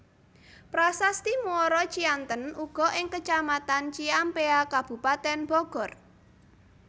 Prasasti Muara Cianten uga ing Kecamatan Ciampea Kabupaten Bogor